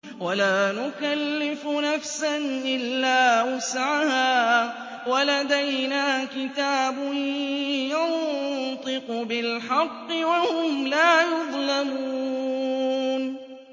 وَلَا نُكَلِّفُ نَفْسًا إِلَّا وُسْعَهَا ۖ وَلَدَيْنَا كِتَابٌ يَنطِقُ بِالْحَقِّ ۚ وَهُمْ لَا يُظْلَمُونَ